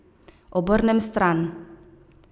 Obrnem stran.